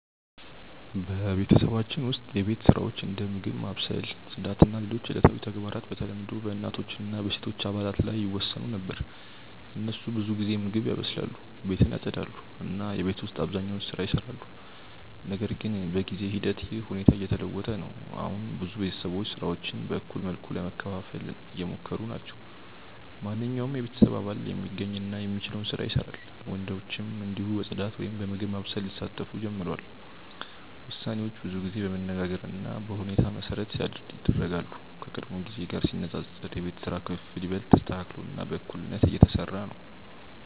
በቤተሰባችን ውስጥ የቤት ስራዎች እንደ ምግብ ማብሰል፣ ጽዳት እና ሌሎች ዕለታዊ ተግባራት በተለምዶ በእናቶች እና በሴቶች አባላት ላይ ይወሰኑ ነበር። እነሱ ብዙ ጊዜ ምግብ ያበስላሉ፣ ቤትን ያጽዳሉ እና የቤት ውስጥ አብዛኛውን ስራ ይሰራሉ። ነገር ግን በጊዜ ሂደት ይህ ሁኔታ እየተለወጠ ነው። አሁን ብዙ ቤተሰቦች ስራዎችን በእኩል መልኩ ለመከፋፈል እየሞከሩ ናቸው። ማንኛውም የቤተሰብ አባል የሚገኝ እና የሚችለውን ስራ ይሰራል፣ ወንዶችም እንዲሁ በጽዳት ወይም በምግብ ማብሰል ሊሳተፉ ጀምረዋል። ውሳኔዎች ብዙ ጊዜ በመነጋገር እና በሁኔታ መሠረት ይደረጋሉ፣ ከቀድሞ ጊዜ ጋር ሲነጻጸር የቤት ስራ ክፍፍል ይበልጥ ተስተካክሎ እና በእኩልነት እየተሰራ ነው።